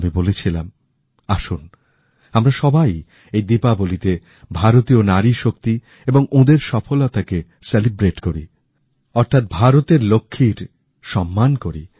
আমি বলেছিলাম আসুন আমরা সবাই এই দীপাবলিতে ভারতীয় নারী শক্তি এবং ওঁদের সাফল্যকে উদযাপন করি অর্থাৎ ভারতের লক্ষ্মীর সম্মান করি